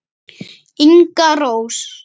Inga Rós.